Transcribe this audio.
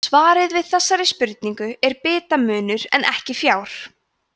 svarið við þessari spurningu er bitamunur en ekki fjár